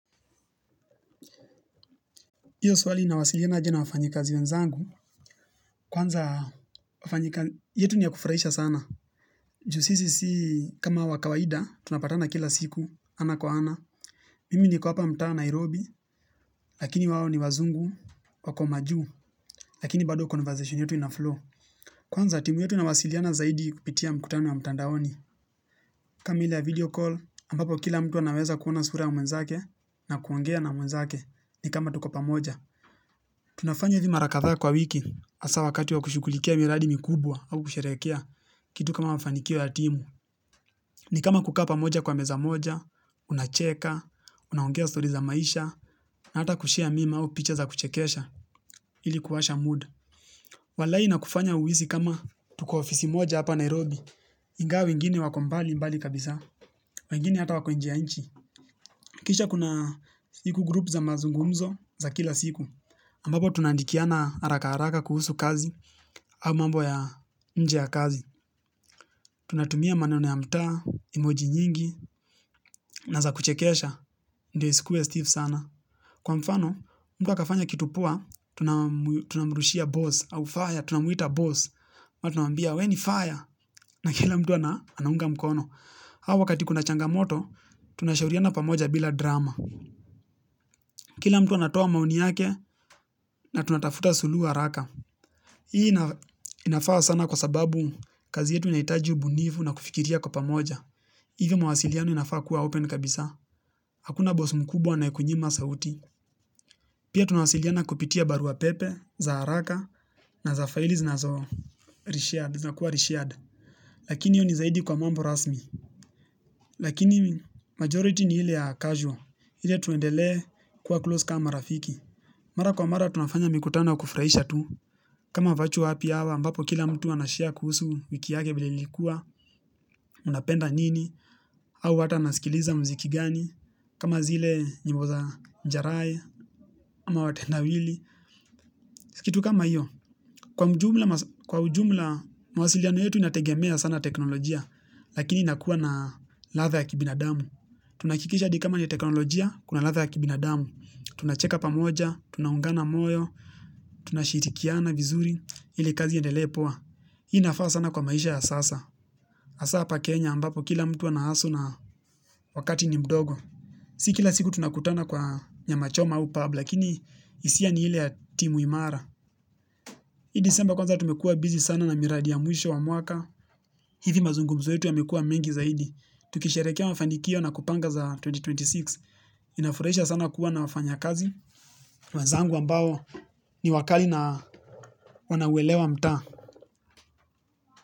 Iyo swali inawasiliana aje na wafanyikazi wenzangu, kwanza wafanyika yetu ni ya kufraisha sana. Ju sisi si kama wakawaida, tunapatana kila siku, ana kwa ana. Mimi niko hapa mtaa Nairobi, lakini wao ni wazungu, wako majuu, lakini bado conversation yetu inaflow. Kwanza timu yetu inawasiliana zaidi kupitia mkutano wa mtandaoni. Kama ile video call, ambapo kila mtu anaweza kuona sura ya mwenzake na kuongea na mwenzake ni kama tuko pamoja. Tunafanya hivi mara kadha kwa wiki asa wakati wa kushugulikia miradi mikubwa au kusherehekea kitu kama mafanikio ya timu. Ni kama kukaa pamoja kwa meza moja, unacheka, unaongea stories za maisha, na hata kushia meme au pictures za kuchekesha ili kuwasha mood. Walai inakufanya uhisi kama tuko ofisi moja hapa Nairobi, ingawa wengine wako mbali mbali kabisa, wengine hata wako nje ya inchi. Kisha kuna siku group za mazungumzo za kila siku ambapo tunaandikiana haraka haraka kuhusu kazi. Au mambo ya nje ya kazi. Tunatumia maneno ya mtaa, emoji nyingi na za kuchekesha, ndio isikue Stiff sana. Kwa mfano, mtu akafanya kitu poa. Tunamurushia boss au fire, tunamwita boss ama tunwambia, we ni fire. Na kila mtu anaunga mkono. Au wakati kuna changamoto, tunashauriana pamoja bila drama. Kila mtu anatoa maoni yake na tunatafuta suluhu haraka. Hii inafaa sana kwa sababu kazi yetu inahitaji ubunifu na kufikiria kwa pamoja. Hivi mawasiliano inafaa kuwa open kabisa. Hakuna bosa mkubwa anaye kunyima sauti. Pia tunawasiliana kupitia barua pepe, za haraka na za faili zinazokuwa reshared. Lakini hiyo ni zaidi kwa mambo rasmi. Lakini majority ni ile ya casual ile tuendele kuwa close kama rafiki. Mara kwa mara tunafanya mikutano ya ukufraisha tu, kama vatual api awa ambapo kila mtu anashare kuhusu wiki yake vile ilikuwa, unapenda nini, au hata nasikiliza mziki gani, kama zile nyimbo za njarae, ama watenda wili, kitu kama iyo. Kwa ujumla, mwasiliano yetu inategemea sana teknolojia, lakini inakuwa na latha ya kibinadamu. Tunaakikisha hadi kama ni teknolojia, kuna latha ya kibinadamu. Tunacheka pamoja, tunaungana moyo, tunashirikiana vizuri, ili kazi iyendelee poa. Hii inafaa sana kwa maisha ya sasa. Hasa hapa kenya ambapo kila mtu anahustle na wakati ni mdogo. Si kila siku tunakutana kwa nyama choma au pub, lakini isia ni ile ya timu imara. Hii disemba kwanza tumekua busy sana na miradi ya mwisho wa mwaka, hivi mazungumzo yetu yamekua mengi zaidi, tukisherehekea mafanikio na kupanga za elfu mbili na ishirini na sita, inafuraisha sana kuwa na wafanya kazi, wenzangu ambao ni wakali na wanauelewa mtaa.